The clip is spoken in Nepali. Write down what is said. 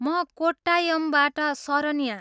म कोट्टायमबाट सरन्या।